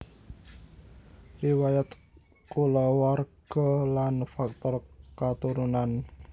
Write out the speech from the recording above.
Riwayat kulawarga lan faktor katurunan